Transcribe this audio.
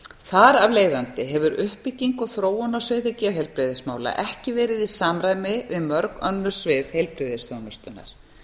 þar af leiðandi hefur uppbygging og þróun á sviði geðheilbrigðismála ekki verið í samræmi við mörg önnur svið heilbrigðisþjónustunnar